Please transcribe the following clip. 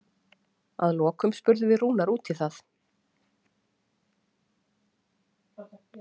Að lokum spurðum við Rúnar út í það?